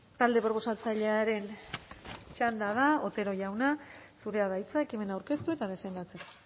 talde proposatzailearen txanda da otero jauna zurea da hitza ekimena aurkeztu eta defendatzeko